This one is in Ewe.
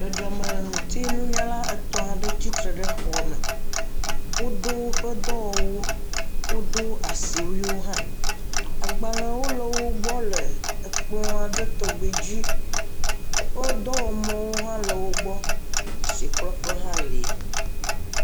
Dzɔdzɔme ŋuti nunyala etɔ̃ aɖe tsitre ɖe xɔame, wo do woƒe dɔwɔ wuwo, wo do asiwuiwo hã, agbalē wo le wo gbɔ le ekplɔ̃a ɖe tɔgbe dzi, oƒe dɔwɔ mɔwo hã le wo gbɔ, asi klɔƒe hã le.